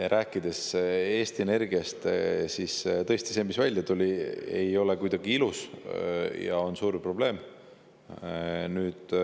Aga rääkides Eesti Energiast, tuleb öelda, et tõesti, see, mis välja on tulnud, ei ole kuidagi ilus ja on suur probleem.